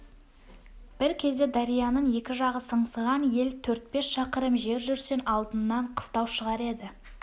бір кезде дарияның екі жағы сыңсыған ел төрт-бес шақырым жер жүрсең алдыңнан қыстау шығар еді